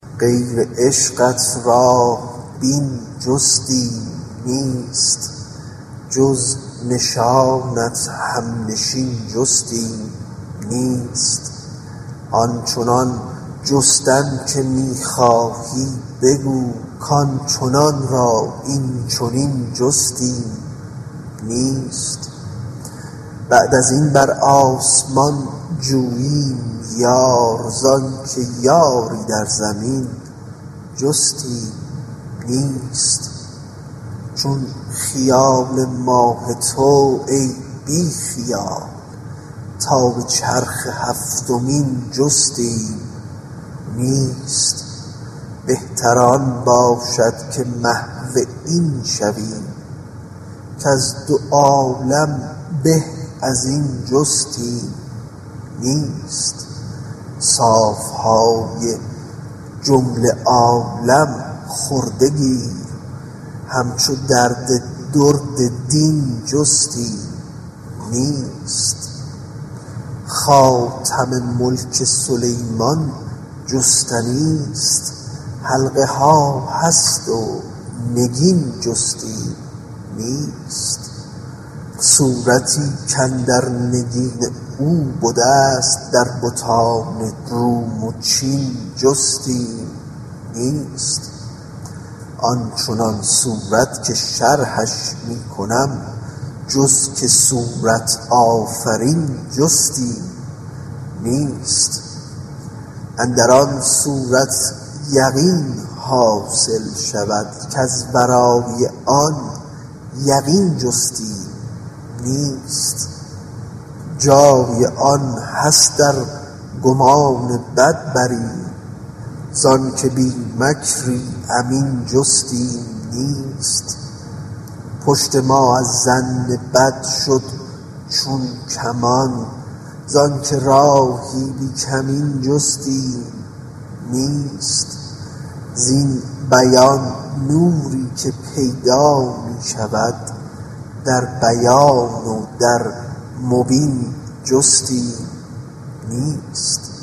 غیر عشقت راه بین جستیم نیست جز نشانت همنشین جستیم نیست آن چنان جستن که می خواهی بگو کان چنان را این چنین جستیم نیست بعد از این بر آسمان جوییم یار زانک یاری در زمین جستیم نیست چون خیال ماه تو ای بی خیال تا به چرخ هفتمین جستیم نیست بهتر آن باشد که محو این شویم کز دو عالم به از این جستیم نیست صاف های جمله عالم خورده گیر همچو درد درد دین جستیم نیست خاتم ملک سلیمان جستنیست حلقه ها هست و نگین جستیم نیست صورتی کاندر نگین او بدست در بتان روم و چین جستیم نیست آن چنان صورت که شرحش می کنم جز که صورت آفرین جستیم نیست اندر آن صورت یقین حاصل شود کز ورای آن یقین جستیم نیست جای آن هست ار گمان بد بریم ز آنک بی مکری امین جستیم نیست پشت ما از ظن بد شد چون کمان زانک راهی بی کمین جستیم نیست زین بیان نوری که پیدا می شود در بیان و در مبین جستیم نیست